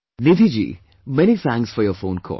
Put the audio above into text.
Nidhi ji, many thanks for your phone call